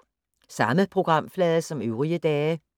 Samme programflade som øvrige dage